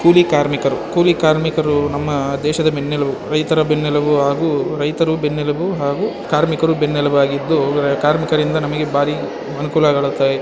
ಕೂಲಿ ಕಾರ್ಮಿಕರು ಕೂಲಿ ಕಾರ್ಮಿಕರು ನಮ್ಮ ದೇಶದ ಬೆನ್ನೆಲುಬು ರೈತರು ಬೆನ್ನೆಲುಬು ಹಾಗು ರೈತರು ಬೆನ್ನೆಲುಬು ಹಾಗು ಕಾರ್ಮಿಕರು ಬೆನ್ನೆಲುಬು ಆಗಿದ್ದು ಕಾರ್ಮಿಕರಿಂದ್ ನಮಗೆ ಭಾರಿ ಅನುಕೂಲಗಳಾಗುತ್ತಾವೆ .